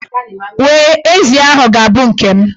We, ezi ahụ ga-abụ nke m.